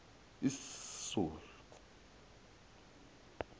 iszulu